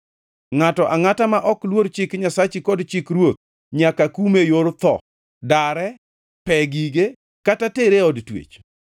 Ngʼato angʼata ma ok luor chik Nyasachi kod chik ruoth nyaka kume e yor tho, dare, pe gige, kata tere e od twech.